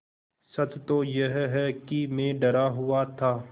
सच तो यह है कि मैं डरा हुआ था